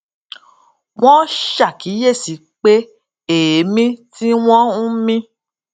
wón ṣàkíyèsí pé èémí tí wón ń mí